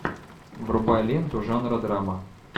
врубай ленту жанра драма